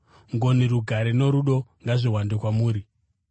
Ngoni, rugare norudo ngazviwande kwamuri.